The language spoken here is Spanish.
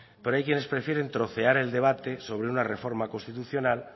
pero hay quienes prefieren trocear el debate sobre una reforma constitucional